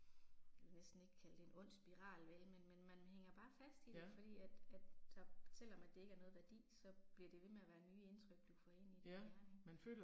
Vil næsten ikke kalde det en ond spiral vel men men man hænger bare fast i det, fordi at at der selvom at det ikke er noget værdi, så bliver det ved med at være nye indtryk du får ind i din hjerne ik